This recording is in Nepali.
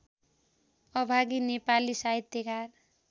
अभागी नेपाली साहित्यकार